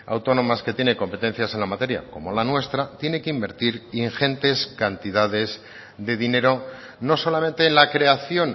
autónomas que tiene competencias en la materia como la nuestra tiene que invertir ingentes cantidades de dinero no solamente en la creación